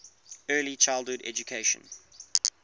early childhood education